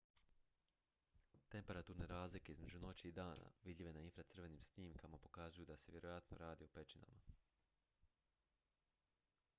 temperaturne razlike između noći i dana vidljive na infracrvenim snimkama pokazuju da se vjerojatno radi o pećinama